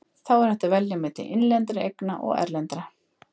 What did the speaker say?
Þá er hægt að velja milli innlendra eigna og erlendra.